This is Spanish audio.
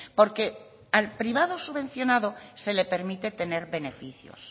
porque al privado subvencionado se le permite tener beneficios